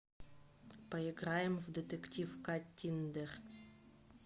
поиграем в детектив каттиндер